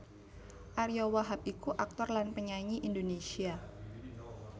Ariyo Wahab iku aktor lan penyanyi Indonésia